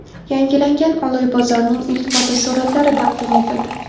Yangilangan Oloy bozorining ilk fotosuratlari taqdim etildi.